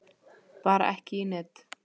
Bara ekki í net.